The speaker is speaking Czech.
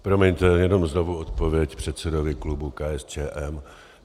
Promiňte, jenom znovu odpověď předsedovi klubu KSČM.